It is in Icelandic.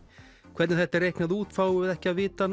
hvernig þetta er reiknað út fáum við ekki að vita